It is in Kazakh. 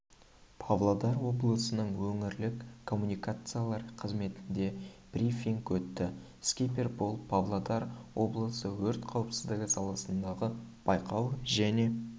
павлодар облысының өңірлік коммуникациялар қызметінде брифинг өтті скипер болып павлодар облысы өрт қауіпсіздігі саласындағы бақылау және